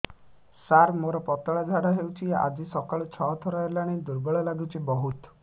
ସାର ମୋର ପତଳା ଝାଡା ହେଉଛି ଆଜି ସକାଳୁ ଛଅ ଥର ହେଲାଣି ଦୁର୍ବଳ ଲାଗୁଚି ବହୁତ